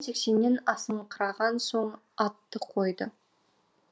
сексеннен асыңқыраған соң атты қойды